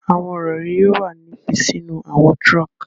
Awọn irori yoo wa ni fi sinu awọn trunk